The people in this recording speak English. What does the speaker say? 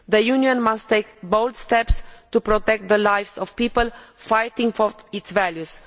The Union must take bold steps to protect the lives of people fighting for its values.